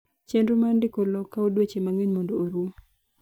chenro mar ndiko lowo kawo dweche mang'eny mondo orum